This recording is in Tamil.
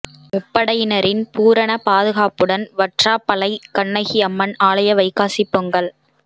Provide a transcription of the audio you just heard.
முப்படையினரின் பூரண பாதுகாப்புடன் வற்றாப்பளை கண்ணகி அம்மன் ஆலய வைகாசி பொங்கல்